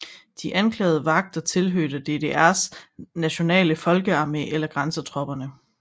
De anklagede vagter tilhørte DDRs nationale folkearmé eller grænsetropperne